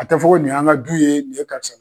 A tɛ fɔ ko nin y'an ka du ye nin ye karisa